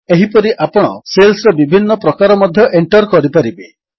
ଏହିପରି ଆପଣ ସେଲ୍ସର ବିଭିନ୍ନ ପ୍ରକାର ମଧ୍ୟ ଏଣ୍ଟର୍ କରିପାରିବେ